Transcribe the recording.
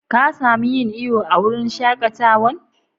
Ka samu yin iyo a'wurin shakatawan?